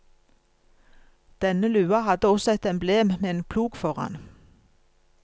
Denne lua hadde også et emblem med en plog foran.